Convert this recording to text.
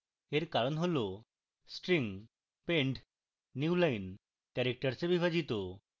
এর কারণ হল string pend newline characters এ বিভাজিত